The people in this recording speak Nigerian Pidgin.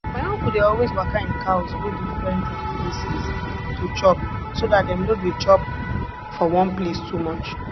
my uncle dey always waka im cows go different um places to chop so dat dem no dey chop for one place too much